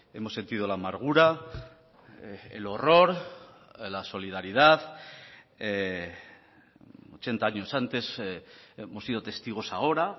hemos sentido la amargura el horror la solidaridad ochenta años antes hemos sido testigos ahora